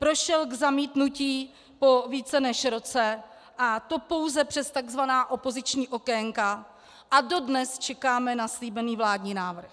Prošel k zamítnutí po více než roce, a to pouze přes tzv. opoziční okénka a dodnes čekáme na slíbený vládní návrh.